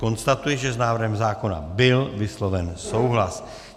Konstatuji, že s návrhem zákona byl vysloven souhlas.